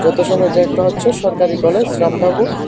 পেছনে এটা একটা হচ্ছে সরকারি কলেজ রাম ঠাকুর।